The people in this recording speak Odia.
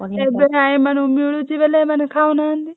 ଏବେ ଏମାନଙ୍କୁ ମିଳୁଛି ବେଲେ ଏମାନେ ଖାଉନାହାନ୍ତି।